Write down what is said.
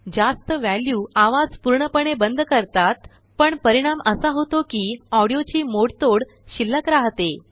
जास्त वॅल्यूआवाज पूर्णपणे बंद करतात पण परिणाम असा होतो कि ऑंडिओची मोडतोड शिल्लक रहाते